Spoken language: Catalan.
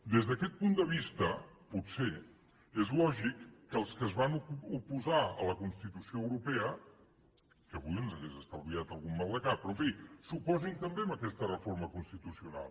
des d’aquest punt de vista potser és lògic que els que es van oposar a la constitució europea que avui ens hauria estalviat algun maldecap però en fi s’oposin també a aquesta reforma constitucional